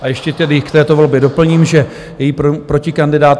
A ještě tedy k této volbě doplním, že její protikandidát.